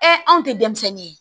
anw tɛ denmisɛnnin ye